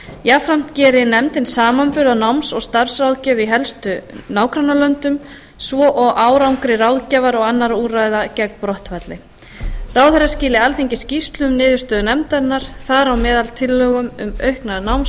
jafnframt geri nefndin samanburð á náms og starfsráðgjöf í helstu nágrannalöndum svo og árangri ráðgjafar og annarra úrræða gegn brottfalli ráðherra skili alþingi skýrslu um niðurstöður nefndarinnar þar á meðal tillögum um aukna náms og